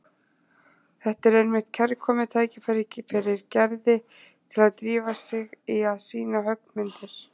Þetta er einmitt kærkomið tækifæri fyrir Gerði til að drífa sig í að sýna höggmyndir.